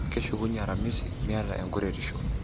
Keshukunye Aramisi ,miata enkuretisho.